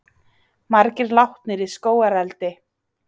Margir látnir í skógareldi